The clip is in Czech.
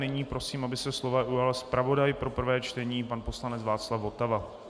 Nyní prosím, aby se slova ujal zpravodaj pro prvé čtení, pan poslanec Václav Votava.